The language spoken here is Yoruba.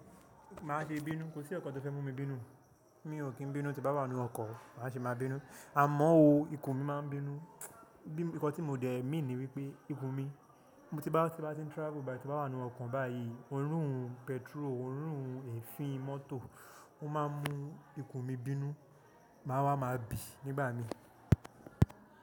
Máa ṣe bínú, kò sí nkankan tó fẹ́ mú mi bínú. Mi ò kí ń bínú tí bá wá nínú ọkọ̀ máa ṣe máa bínú. Àmọ́ o, ikùn mi máa ń bínú. Bí ǹkan tí mo dẹ̀ mean ni wípé ikùn mi, tí bá ti ń travel báyii ti n ba wá nínú ọkọ̀ báyìí, òórùn petrol, òórùn èéfín mọ́tò, ó máa ń mú ikùn mi bínú. Máa wá, máa bì nígbà mi.